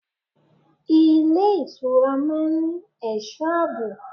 Ilé ìtura máa ń ní ẹ̀sọ́ àbò.